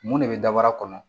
Mun de bɛ dabara kɔnɔ